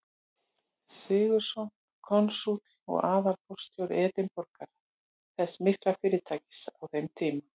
Sigurðsson, konsúll og aðalforstjóri Edinborgar, þess mikla fyrirtækis á þeim tíma.